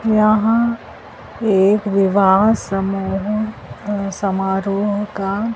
यहां एक विवाह समूह समारोह का--